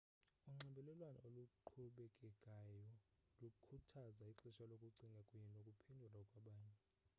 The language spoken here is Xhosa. unxibelelwano oluqhubekekayo lukhuthaza ixesha lokucinga kunye nokuphendula kwabanye